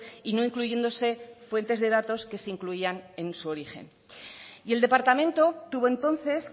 y no incluyéndose fuentes de datos que se incluían en su origen y el departamento tuvo entonces